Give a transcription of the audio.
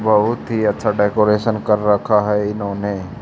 बहुत ही अच्छा डेकोरेशन कर रखा है इन्होंने।